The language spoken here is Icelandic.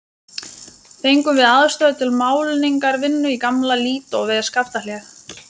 Fengum við aðstöðu til málningarvinnu í gamla Lídó við Skaftahlíð.